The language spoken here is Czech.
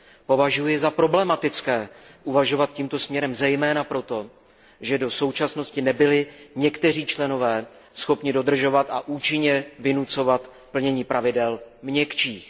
Považuji za problematické uvažovat tímto směrem zejména proto, že do současnosti nebyli někteří členové schopni dodržovat a účinně vynucovat plnění pravidel měkčích.